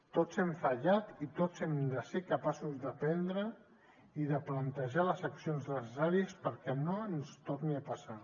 tots hem fallat i tots hem de ser capaços d’aprendre i de plantejar les accions necessàries perquè no ens torni a passar